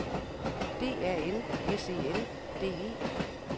D A N S E N D E